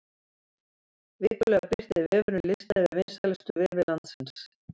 Vikulega birtir vefurinn lista yfir vinsælustu vefi landsins.